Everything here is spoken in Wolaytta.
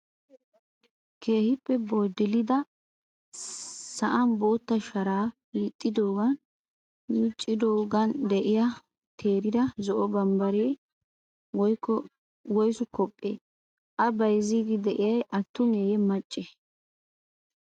Keehippe boddilada sa''anbootta shara hiixxidoogan miciidoogan de'iyaa teerida zo''o bambbare woyisu kophphe? A bayizziddi de'iyay attume macce oona geetettidi eretti?